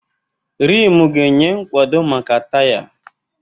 Rimu ga-enye nkwado maka taya.